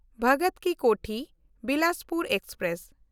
ᱵᱷᱚᱜᱚᱛ ᱠᱤ ᱠᱳᱴᱷᱤ–ᱵᱤᱞᱟᱥᱯᱩᱨ ᱮᱠᱥᱯᱨᱮᱥ